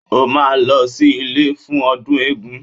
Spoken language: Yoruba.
O máa lọ sí ilé fún ọdún eégún